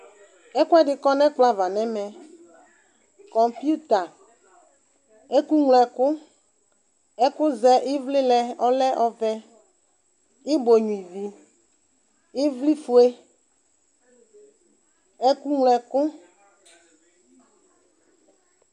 Ɛkʋɛdi kɔnʋ ɛkplɔava nʋ ɛmɛ kɔmputa ɛkʋŋlo ɛkʋ ɛkʋzɛ ivlilɛ kʋ ɔlɛ ɔvɛ ibɔ nyua ivi ivlifue ɛkʋŋlo ɛkʋ